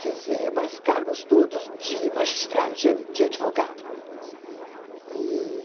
Quer dizer, mas cargos todos de magistrado, de de advogado, uhum, e